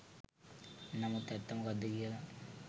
නමුත් ඇත්ත මොකද්ද කියලා